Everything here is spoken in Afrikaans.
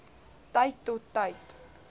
tyd tot tyd